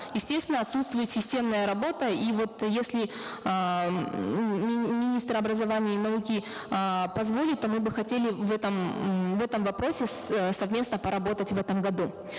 естественно отсутствует системная работа и вот если эээ ммм министр образования и науки эээ позволит то мы бы хотели в этом ммм в этом вопросе совместно поработать в этом году